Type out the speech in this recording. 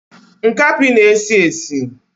Nkapi na esi esi